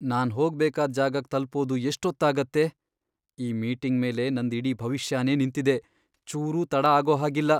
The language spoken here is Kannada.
ನಾನ್ ಹೋಗ್ಬೇಕಾದ್ ಜಾಗಕ್ ತಲ್ಪೋದು ಎಷ್ಟೊತ್ತಾಗತ್ತೆ? ಈ ಮೀಟಿಂಗ್ ಮೇಲೆ ನಂದ್ ಇಡೀ ಭವಿಷ್ಯನೇ ನಿಂತಿದೆ, ಚೂರೂ ತಡ ಆಗೋಹಾಗಿಲ್ಲ.